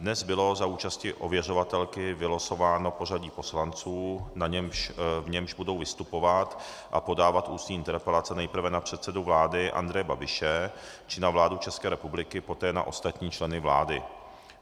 Dnes bylo za účasti ověřovatelky vylosováno pořadí poslanců, v němž budou vystupovat a podávat ústní interpelace nejprve na předsedu vlády Andreje Babiše či na vládu České republiky, poté na ostatní členy vlády.